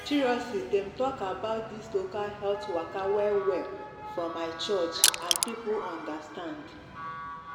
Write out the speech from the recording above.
dem talk about this local health waka well well for my church and people understand